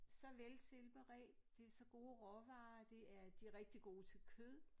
Så veltilberedt det så gode råvarer det er de rigtig gode til kød